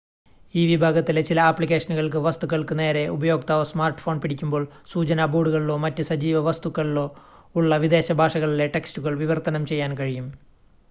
ഈ വിഭാഗത്തിലെ ചില ആപ്ലിക്കേഷനുകൾക്ക് വസ്‌തുക്കൾക്ക് നേരെ ഉപയോക്താവ് സ്മാർട്ട്‌ഫോൺ പിടിക്കുമ്പോൾ സൂചനാ ബോർഡുകളിലോ മറ്റ് സജീവ വസ്തുക്കളിലോ ഉള്ള വിദേശ ഭാഷകളിലെ ടെക്സ്റ്റുകൾ വിവർത്തനം ചെയ്യാൻ കഴിയും